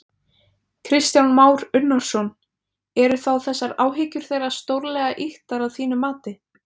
Kristján Már Unnarsson: Eru þá þessar áhyggjur þeirra stórlega ýktar að þínu mati?